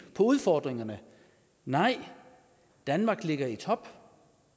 på udfordringerne nej danmark ligger i top